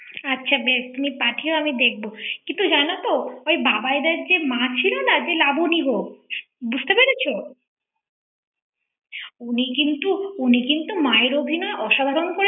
আচ্ছা বেশ তুমি পাঠিয়ো আমি দেখব কিন্তু জানো তো ঔঽ বাবাইদা যে মা ছিল না যে লাবনীগো বুঝতে পেরেছ উনি কিন্তু উনি কিন্তু মায়ের অভিনয় অসাধারণ করেছে ৷